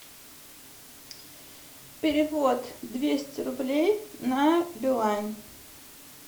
перевод двести рублей на билайн